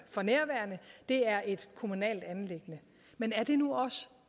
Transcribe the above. for nærværende det er et kommunalt anliggende men er det nu også